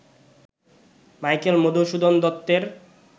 Michael Madhusudan দত্তের